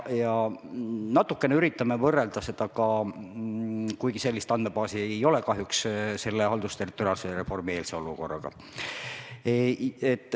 Ja natuke üritame võrrelda ka – kuigi sellist andmebaasi kahjuks ei ole – haldusterritoriaalse reformi eelse olukorraga.